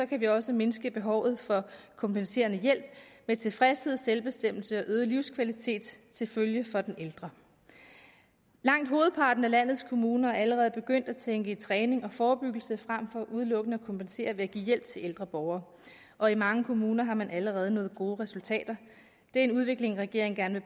kan vi også mindske behovet for kompenserende hjælp med tilfredshed selvbestemmelse og øget livskvalitet til følge for den ældre langt hovedparten af landets kommuner er allerede begyndt at tænke i træning og forebyggelse frem for udelukkende at kompensere ved at give hjælp til ældre borgere og i mange kommuner har man allerede nået gode resultater det er en udvikling regeringen gerne